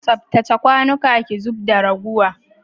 Tsaftace kwanuka ki zub da raguwa.